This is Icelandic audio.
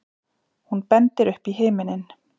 Hún bendir upp í himininn.